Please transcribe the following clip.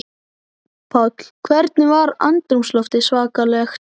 Páll: Hvernig var andrúmsloftið svakalegt?